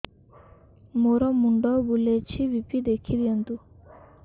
ମୋର ମୁଣ୍ଡ ବୁଲେଛି ବି.ପି ଦେଖି ଦିଅନ୍ତୁ